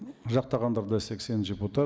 жақтағандар да сексен депутат